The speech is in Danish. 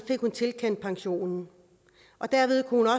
hun tilkendt pension og dermed kunne